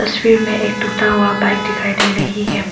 तस्वीर में एक टूटा हुआ बाइक दिखाई दे रही है।